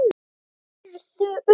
Hrærðu upp í!